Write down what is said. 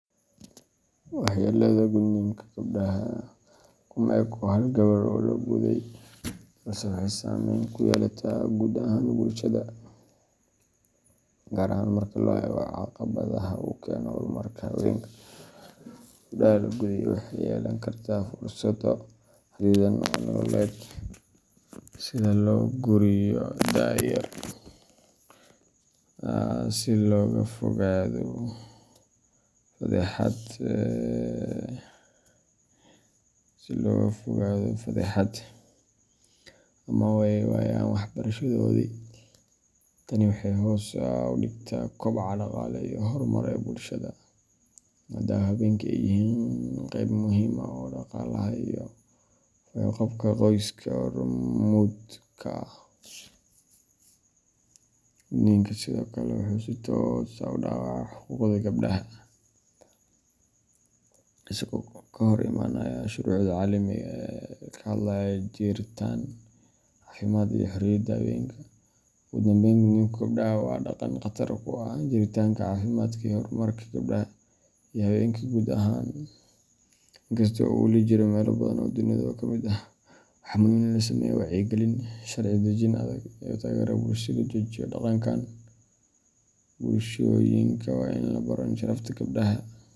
Waxyeelada gudniinka gabdhaha kuma eko hal gabadh oo la guday, balse waxay saamayn ku yeelataa guud ahaan bulshada, gaar ahaan marka la eego caqabadaha uu keeno horumarka haweenka. Gabadha la guday waxay yeelan kartaa fursado xadidan oo nololeed, sida in loo guuriyo da’ yar si looga fogaado fadeexad ama ay waayaan waxbarashadoodii. Tani waxay hoos u dhigtaa koboca dhaqaale iyo horumar ee bulshada, maadaama haweenka ay yihiin qeyb muhiim ah oo dhaqaalaha iyo fayo-qabka qoyska hormuud ka ah. Gudniinku sidoo kale wuxuu si toos ah u dhaawacaa xuquuqda gabdhaha, isagoo ka hor imaanaya shuruucda caalamiga ah ee ka hadlaya jiritaan, caafimaad, iyo xorriyadda haweenka. Ugu dambayn, gudniinka gabdhaha waa dhaqan khatar ku ah jiritaanka, caafimaadka, iyo horumarka gabdhaha iyo haweenka guud ahaan. Inkasta oo uu wali ka jiro meelo badan oo dunida ka mid ah, waxaa muhiim ah in la sameeyo wacyigelin, sharci dejin adag, iyo taageero bulsho si loo joojiyo dhaqankan. Bulshooyinka waa in la baro in sharafta gabadha.